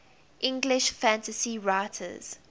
english fantasy writers